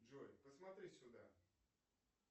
джой посмотри сюда